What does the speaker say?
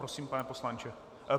Prosím, pane poslanče.